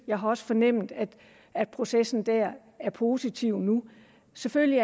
jeg har også fornemmet at at processen der er positiv nu selvfølgelig